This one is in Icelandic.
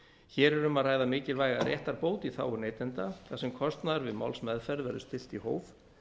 hér er um að ræða mikilvæga réttarbót í þágu neytenda þar sem kostnaður við málsmeðferð verður stillt í hóf